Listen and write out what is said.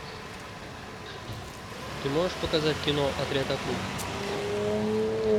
ты можешь показать кино отряд акул